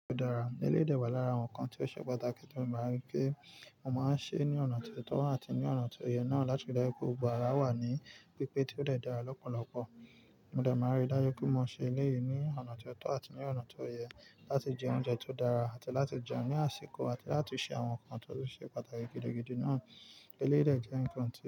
Tó dára, eléyìí dé wà lára àwọn nǹkan tí ó ṣe pàtàkì, tí mo máa n rí pé mo máa ń ṣe ní ọ̀nà tí ó tọ́ àti ní ọ̀nà tí ó yẹ náà láti rí dájú pé gbogbo ara wà ní pípé tí ó dè dára lọ́pọ̀lọpọ̀. Mo dẹ̀ máa ríi dáju pé mo ṣe eléyìí ní ọ̀nà tí ó tọ́ àti ní ọ̀nà tí ó yẹ láti jẹ oúnjẹ tó dára àti láti jẹun ní àsìkò àti láti ṣe àwọn nǹkan tó ṣe pàtàkì gidigidi náà. Eléyìí dé jẹ́ nǹkan tí.